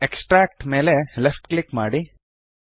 extract ಮೇಲೆ left click ಮಾಡಿ